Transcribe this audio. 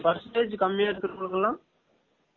percentage கம்மியா இருக்க்ரவங்கல்லுக்கு எல்லாம்